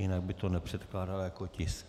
Jinak by to nepředkládala jako tisk.